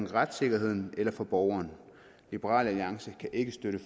retssikkerheden eller for borgeren liberal alliance kan ikke støtte